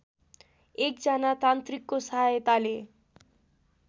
एकजना तान्त्रिकको सहायताले